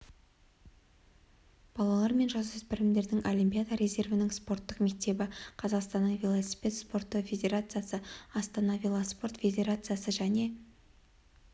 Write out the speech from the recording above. балалар мен жасөспірімдердің олимпиада резервінің спорттық мектебі қазақстанның велосипед спорты федерациясы астана велоспорт федерациясы және